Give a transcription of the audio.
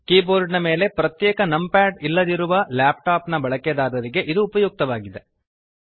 keyboard ಮೇಲೆ ಪ್ರತ್ಯೇಕ numpad ಇಲ್ಲದಿರುವ ಲ್ಯಾಪ್ಟಾಪ್ ನ ಬಳಕೆದಾರರಿಗೆ ಇದು ಉಪಯುಕ್ತವಾಗಿದೆ